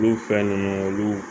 Olu fɛn ninnu olu